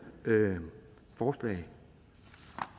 forslag